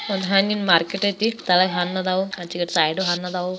ಒಂದು ಹಣ್ಣಿನ ಮಾರ್ಕೆಟ್ ಇದೆ ಹಣ್ಣಿದೆ ಸೈಡಲು ಹಣ್ಣಿದೆ.